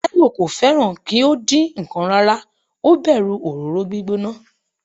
Taiwo kò fẹ́ràn kí ó dín ǹkan rárá, ó bẹ̀rù òróró gbígbóná.